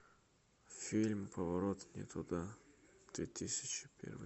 фильм поворот не туда две тысячи первый